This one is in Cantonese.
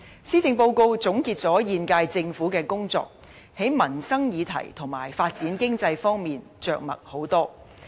施政報告總結了現屆政府的工作，在民生議題和發展經濟方面着墨很多。